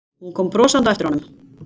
Kom brosandi á eftir honum.